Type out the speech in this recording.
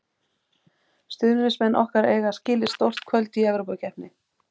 Stuðningsmenn okkar eiga skilið stór kvöld í Evrópukeppni.